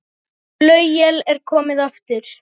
Flauel er komið aftur.